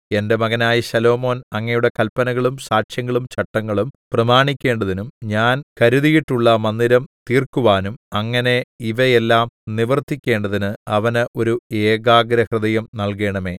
എന്റെ മകനായ ശലോമോൻ അങ്ങയുടെ കല്പനകളും സാക്ഷ്യങ്ങളും ചട്ടങ്ങളും പ്രമാണിക്കേണ്ടതിനും ഞാൻ കരുതിയിട്ടുള്ള മന്ദിരം തീർക്കുവാനും അങ്ങനെ ഇവയെല്ലാം നിവർത്തിക്കേണ്ടതിന് അവന് ഒരു ഏകാഗ്രഹൃദയം നല്കേണമേ